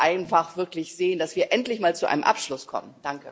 Wir müssen einfach wirklich sehen, dass wir endlich mal zu einem Abschluss kommen.